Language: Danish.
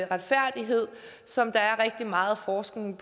retfærdighed som rigtig meget forskning